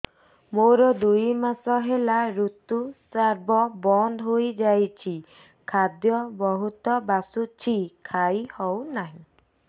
ମୋର ଦୁଇ ମାସ ହେଲା ଋତୁ ସ୍ରାବ ବନ୍ଦ ହେଇଯାଇଛି ଖାଦ୍ୟ ବହୁତ ବାସୁଛି ଖାଇ ହଉ ନାହିଁ